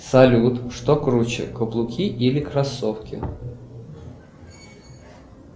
салют что круче каблуки или кроссовки